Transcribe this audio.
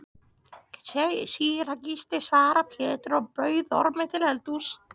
Síra Gísli, svaraði Pétur og bauð Ormi til eldhúss.